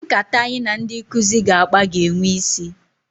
Nkata anyị na ndị nkụzi ga-akpa ga-enwe isi.